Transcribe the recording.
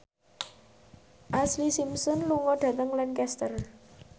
Ashlee Simpson lunga dhateng Lancaster